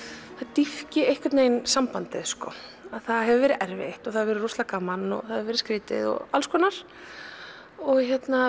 dýpki einhvern veginn sambandið það hefur verið erfitt og það hefur verið rosalega gaman og það hefur verið skrítið og alls konar og